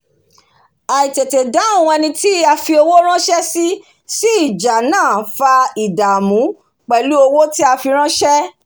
àìtètédáhùn eni tí a fi owó ránsé sí sí ìjà náà fa ìdàmú pèlú owó tí a fi ránsẹ̀